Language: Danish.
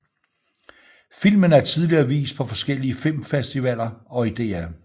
Filmen er tidligere vist på forskellige filmfestivaller og i DR